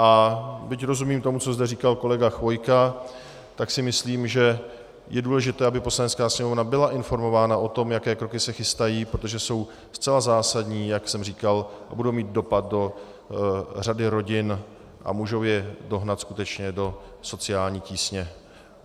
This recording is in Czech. A byť rozumím tomu, co zde říkal kolega Chvojka, tak si myslím, že je důležité, aby Poslanecká sněmovna byla informována o tom, jaké kroky se chystají, protože jsou zcela zásadní, jak jsem říkal, a budou mít dopad do řady rodin a mohou je dohnat skutečně do sociální tísně.